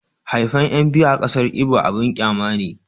haifan 'yan biyu a ƙasar ibo abun ƙyama ne